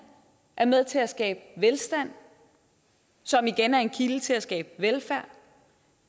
er med til at skabe velstand som igen er en kilde til at skabe velfærd